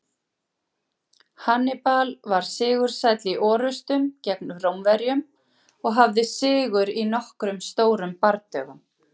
Hannibal var sigursæll í orrustum gegn Rómverjum og hafði sigur í nokkrum stórum bardögum.